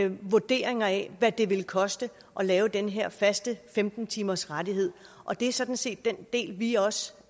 vurderinger af hvad det ville koste at lave den her faste femten timers rettighed og det er sådan set den del vi også